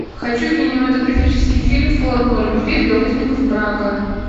хочу кинематографический фильм формула любви для узников брака